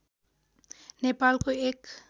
नेपालको एक